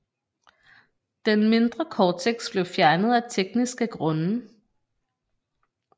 Den mindre Cortex blev fjernet af tekniske grunde